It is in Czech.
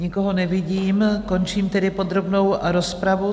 Nikoho nevidím, končím tedy podrobnou rozpravu.